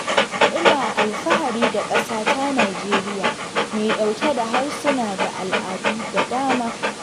Ina alfahari da ƙasata Najeriya mai ɗauke da harsuna da al'adu da dama